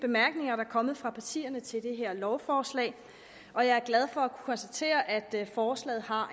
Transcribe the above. bemærkninger der er kommet fra partierne til det her lovforslag og jeg er glad for at kunne konstatere at forslaget har